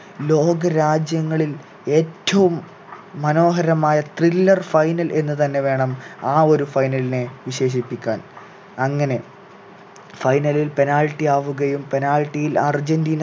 ലോക രാജ്യങ്ങളിൽ ഏറ്റവും മനോഹരമായ thriller final എന്നു തന്നെ വേണം ആ ഒരു final നെ വിശേഷിപ്പിക്കാൻ അങ്ങനെ final ൽ penalty ആവുകയും penalty ൽ അർജന്റീന